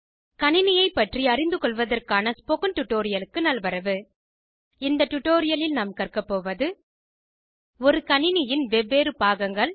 கணினியை பற்றி அறிந்துக்கொள்வதற்கான ஸ்போகன் டுடோரியலுக்கு நல்வரவு இந்த டுடோரியலில் நாம் கற்க போவது ஒரு கணினியின் வெவ்வேறு பாகங்கள்